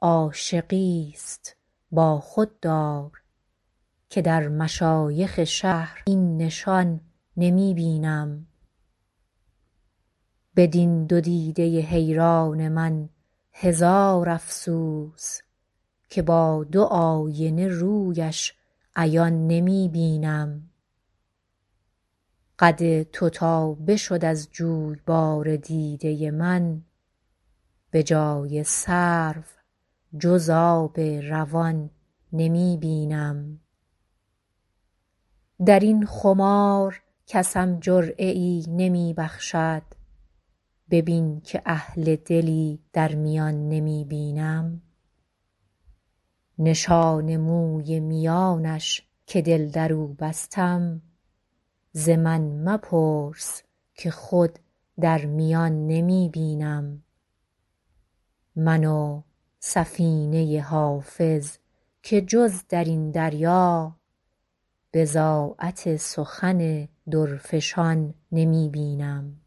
عاشقیست با خود دار که در مشایخ شهر این نشان نمی بینم بدین دو دیده حیران من هزار افسوس که با دو آینه رویش عیان نمی بینم قد تو تا بشد از جویبار دیده من به جای سرو جز آب روان نمی بینم در این خمار کسم جرعه ای نمی بخشد ببین که اهل دلی در میان نمی بینم نشان موی میانش که دل در او بستم ز من مپرس که خود در میان نمی بینم من و سفینه حافظ که جز در این دریا بضاعت سخن درفشان نمی بینم